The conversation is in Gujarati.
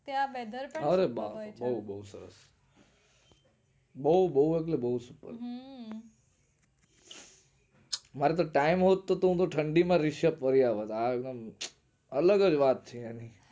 ત્યાં weather પણ સારું હોય છે બહુ એટલે બહુ time હોતે ને ઠંડી માં રીશ્યબ ફરી આવત